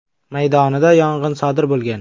maydonida yong‘in sodir bo‘lgan.